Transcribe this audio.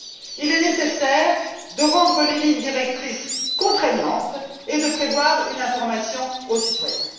Il est nécessaire de rendre les lignes directrices contraignantes et de prévoir une information aux citoyens.